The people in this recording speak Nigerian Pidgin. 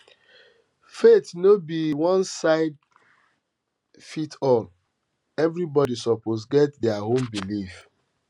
faith no be onesizefitsall everybody suppose get dia own belief